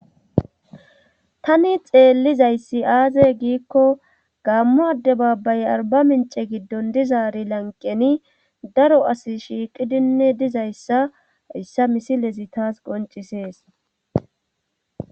Tani xeellizayssi aaze giikko gammo adde baabbay arba mince giddon dizaari lanqeni daro asi shiiqidinne dizayssa issa misilezi taas qoncisees.